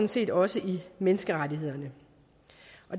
set også i menneskerettighederne